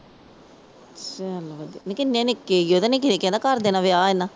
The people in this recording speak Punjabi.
ਚਲ ਵਧੀਆ। ਨੀ ਕਿੰਨੇ ਨਿੱਕੇ ਸੀ ਉਹ। ਨਿੱਕਿਆਂ ਨਿੱਕਿਆਂ ਦਾ ਕਰ ਦੇਣਾ ਵਿਆਹ ਇਨਾਂ।